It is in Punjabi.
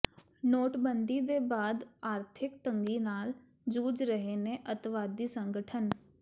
ਨੋਟਬੰਦੀ ਦੇ ਬਾਅਦ ਆਰਥਿਕ ਤੰਗੀ ਨਾਲ ਜੂਝ ਰਹੇ ਨੇ ਅੱਤਵਾਦੀ ਸੰਗਠਨ